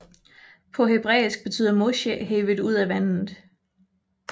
På hebræisk betyder Moshe hevet ud af vandet